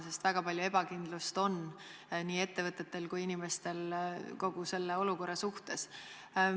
Seni on ju väga palju ebakindlust nii ettevõtete kui ka elanike seas kogu selle olukorra suhtes.